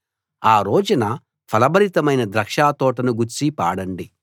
ఆ రోజున ఫలభరితమైన ద్రాక్ష తోటను గూర్చి పాడండి